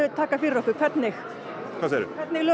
taka fyrir okkur hvernig hvernig lög